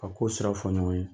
kow siraw fɔ ɲɔgɔn ye.